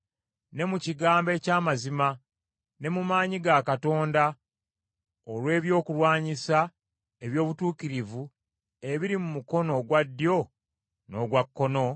ne mu kigambo eky’amazima, ne mu maanyi ga Katonda olw’ebyokulwanyisa eby’obutuukirivu ebiri mu mukono ogwa ddyo n’ogwa kkono,